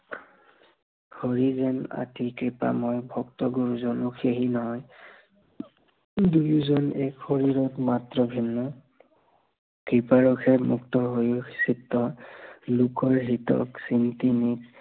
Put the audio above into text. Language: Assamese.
হৰি নাম আদি কৃপাময় ভক্ত গুৰুজন সেহি নাম দুয়োজন এক শৰীৰত মাত্ৰ ভিন্ন কৃপাৰসে মুক্ত হৈয়ো চিত্ত,